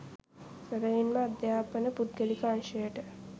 සැබැවින්ම අධ්‍යාපන පුද්ගලික අංශයට